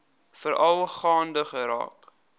veral gaande geraak